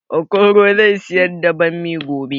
Okoro zai siyar da bammi gobe